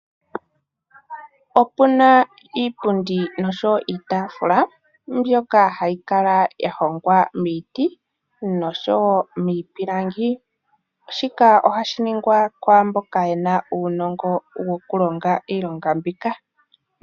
Opu na iipundi niitaafula mbyoka hayi kala ya hongwa miiti nomiipilangi. Shika ohashi ningwa kwaamboka ye na uunongo woku longa iilonga mbika.